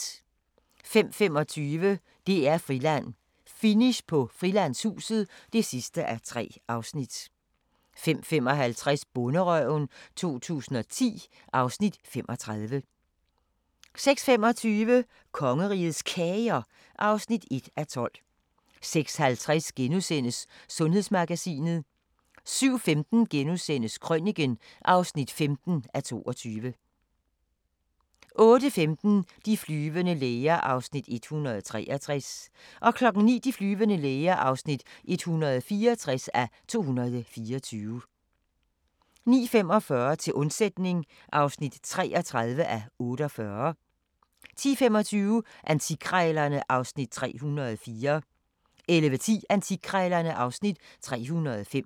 05:25: DR-Friland: Finish på Frilandshuset (3:3) 05:55: Bonderøven 2010 (Afs. 35) 06:25: Kongerigets Kager (1:12) 06:50: Sundhedsmagasinet * 07:15: Krøniken (15:22)* 08:15: De flyvende læger (163:224) 09:00: De flyvende læger (164:224) 09:45: Til undsætning (33:48) 10:25: Antikkrejlerne (Afs. 304) 11:10: Antikkrejlerne (Afs. 305)